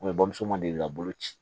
bamuso ma deli ka bolo ci